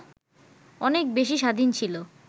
অনেক বেশি স্বাধীন ছিল